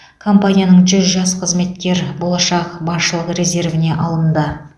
компанияның жүз жас қызметкері болашақ басшылық резервіне алынды